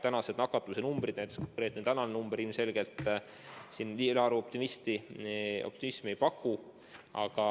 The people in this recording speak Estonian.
Praegused nakatumise numbrid, näiteks konkreetselt tänane number ilmselgelt siin ülearu optimismi ei paku.